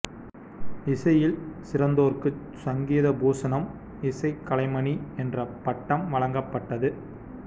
இசையில் சிறந்தோற்குச் சங்கீத பூசணம் இசைக் கலைமணி என்ற பட்டம் வழங்கப்பட்டது